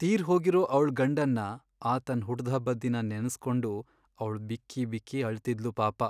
ತೀರ್ಹೋಗಿರೋ ಅವ್ಳ್ ಗಂಡನ್ನ ಆತನ್ ಹುಟ್ದ್ಹಬ್ಬದ್ ದಿನ ನೆನ್ಸ್ಕೊಂಡು ಅವ್ಳ್ ಬಿಕ್ಕಿ ಬಿಕ್ಕಿ ಅಳ್ತಿದ್ಳು ಪಾಪ.